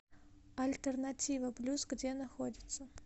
альтернатива плюс где находится